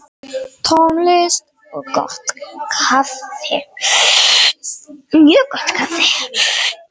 Tónlist og gott kaffi.